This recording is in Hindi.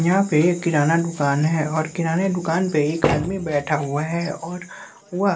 यहां पे किराना दुकान है और किराने दुकान पे एक आदमी बैठा हुआ है और वह--